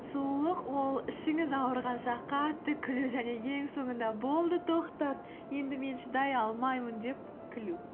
сұлулық ол ішіңіз ауырғанша қатты күлу және соңында болды тоқтат енді мен шыдай алмаймын деп күлу